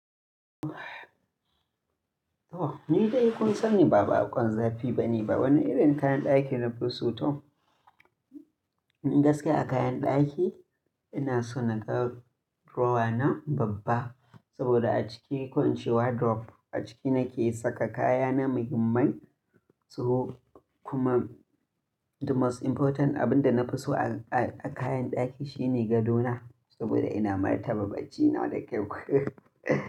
To! Ni dai kun sani ba baƙon zafi bane, ba wani irin kayan ɗaki na fi so to, ni gaskiya a kayan ɗaki ina so naga drawer na babba. Saboda a ciki, ko in ce wardrobe, a ciki nake saka kaya na mahimmai. So kuma the most important abin da na fi so a, a kayan ɗaki shine gadona. Saboda ina martaba baccina da kyau.